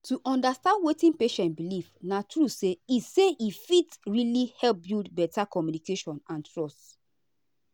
to understand wetin patient believe na true say he say he fit really help build better communication and trust.